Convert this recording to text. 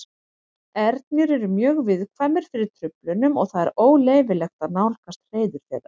Ernir eru mjög viðkvæmir fyrir truflunum og það er óleyfilegt að nálgast hreiður þeirra.